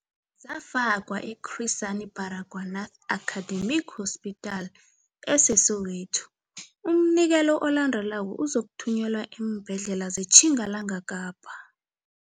Zafakwa e-Chris Hani Baragwanath Academic Hospital ese-Soweto. Umnikelo olandelako uzokuthunyelwa eembhedlela zeTjingalanga Kapa.